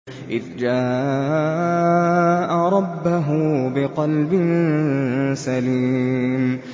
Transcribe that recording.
إِذْ جَاءَ رَبَّهُ بِقَلْبٍ سَلِيمٍ